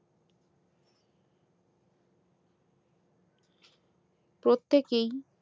প্রত্যেকেই